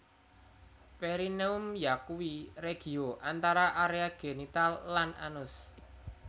Perineum yakuwi regio antara area genital lan anus